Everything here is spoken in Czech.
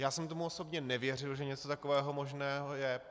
Já jsem tomu osobně nevěřil, že něco takového možného je.